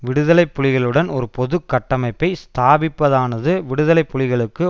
விடுதலை புலிகளுடன் ஒரு பொது கட்டமைப்பை ஸ்தாபிப்பதானது விடுதலை புலிகளுக்கு